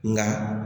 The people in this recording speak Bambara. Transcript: Nka